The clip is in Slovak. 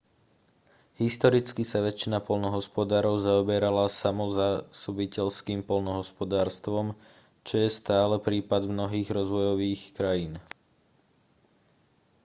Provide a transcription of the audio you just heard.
historicky sa väčšina poľnohospodárov zaoberala samozásobiteľským poľnohospodárstvom čo je stále prípad mnohých rozvojových krajín